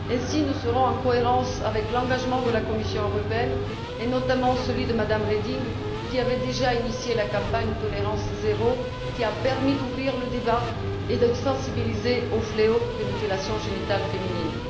Ainsi, nous serons en cohérence avec l'engagement de la Commission et notamment celui de Mme Reding, qui avait déjà lancé la campagne sur la tolérance zéro, qui a permis d'ouvrir le débat et de sensibiliser au fléau des mutilations génitales féminines.